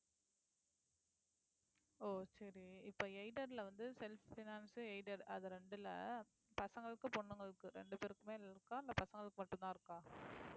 ஓ சரி இப்ப aided ல வந்து self finance aided அது ரெண்டுல பசங்களுக்கு பொண்ணுங்களுக்கு ரெண்டு பேருக்குமே இருக்கா இல்லை பசங்களுக்கு மட்டும்தான் இருக்கா